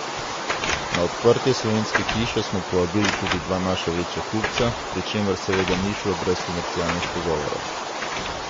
Na odprtje Slovenske hiše smo povabili tudi dva naša večja kupca, pri čemer seveda ni šlo brez komercialnih pogovorov.